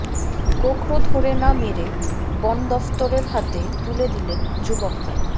গোখরো ধরে না মেরে বনদফতরের হাতে তুলে দিলেন যুবকরা